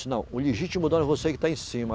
Não, o legítimo dono é você que está em cima.